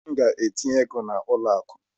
M ga-aga tinye ego a n'ụlọ akụ